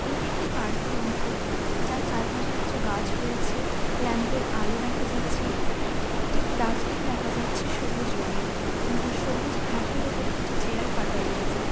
এটি একটি পার্ক এর অংশ যার চারপাশে কিছু গাছ রয়েছে । ল্যাম্প এর আলো দেখা যাচ্ছে । একটি ডাস্টবিন দেখা যাচ্ছে | সবুজ রঙের এবং তার সবুজ ঘাসের উপরে কিছু চেয়ার পাতা রয়েছে।